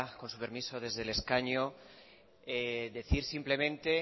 con su permiso desde el escaño decir simplemente